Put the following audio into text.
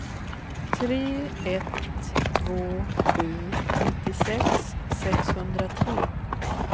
tre ett två sju nittiosex sexhundratre